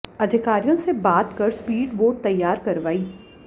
अधिकारियों से बात कर स्पीड बोट तैयार करवाई